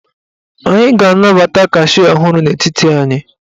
Anyị ga-anabata kashịa ọhụrụ n'etiti anyị.